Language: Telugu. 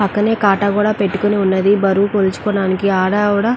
పక్కనే కాటా కూడా పెట్టుకుని ఉన్నదీ. బరువు కొలుచుకోడానికి ఆడ అవిడ --